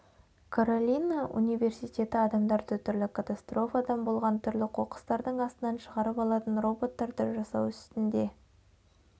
каролина университеті адамдарды түрлі катастрофадан болған түрлі қоқыстардың астынан шығарып алатын роботтарды жасау үстінде